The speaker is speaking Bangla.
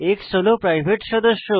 x হল প্রাইভেট সদস্য